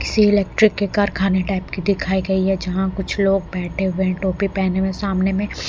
किसी इलेक्ट्रिक के कारखाने टाइप की दिखाई गई है जहां कुछ लोग बैठे हुए हैं टोपी पहने हुए सामने में--